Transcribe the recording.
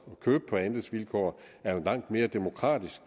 at købe på andelsvilkår er jo en langt mere demokratisk